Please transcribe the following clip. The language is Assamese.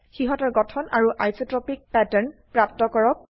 সিহতৰ গঠন আৰু আইচট্ৰপিক প্যাটাৰ্ন প্ৰাপ্ত কৰক